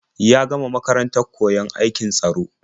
Ya gama makarantar koyon aikin tsaro.